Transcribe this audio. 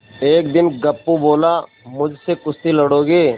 एक दिन गप्पू बोला मुझसे कुश्ती लड़ोगे